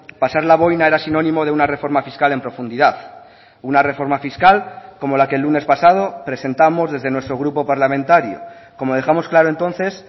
pasar la boina era sinónimo de una reforma fiscal en profundidad una reforma fiscal como la que el lunes pasado presentamos desde nuestro grupo parlamentario como dejamos claro entonces